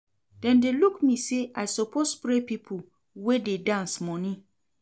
Dem dey look me sey I suppose spray pipo wey dey dance moni.